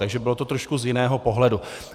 Takže to bylo trošku z jiného pohledu.